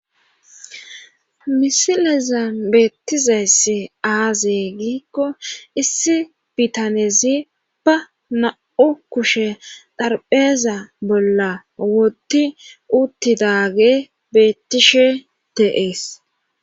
Misileza beettizayss aaze giikko issi bitanezi ba na7u kushe dharbeeza bolla woti uttidaage bettishe teees